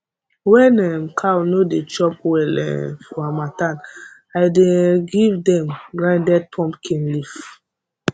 when um cow no dey chop well um for harmattan i dey um give dem grinded pumpkin leaf